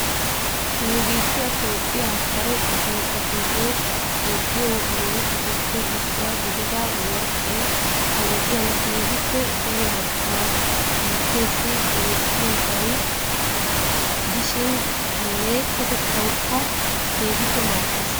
Nu biittiya Toophiyaa kare biittatuyo yeddiyo murutattupe issuwaa gidida worqqay ha wodiyaan keehippe daro marccuwaa biitteessi demmissiyaaga gidishin alleeqotettawukka keehippe maaddees.